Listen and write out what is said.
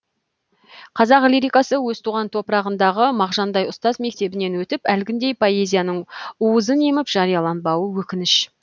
қазақ лирикасы өз туған топырағындағы мағжандай ұстаз мектебінен өтіп әлгіндей поэзияның уызын еміп жарияланбауы өкініш